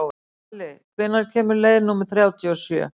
Valli, hvenær kemur leið númer þrjátíu og sjö?